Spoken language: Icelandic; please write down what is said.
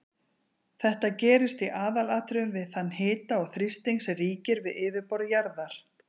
Þetta gerist í aðalatriðum við þann hita og þrýsting sem ríkir við yfirborð jarðar.